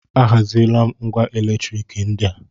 A haziela m ngwá elektrik ndị a.